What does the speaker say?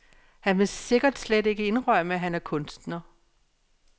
Han vil sikkert slet ikke indrømme, at han er kunstner.